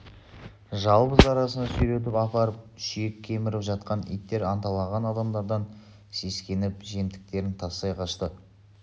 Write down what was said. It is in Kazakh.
жалбыз арасына сүйретіп апарып сүйек кеміріп жатқан иттер анталаған адамдардан сескеніп жемтіктерін тастай қашты